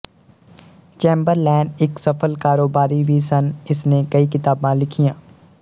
Chamberlain ਇੱਕ ਸਫਲ ਕਾਰੋਬਾਰੀ ਵੀ ਸਨ ਇਸਨੇ ਕਈ ਕਿਤਾਬਾਂ ਲਿਖੀਆਂ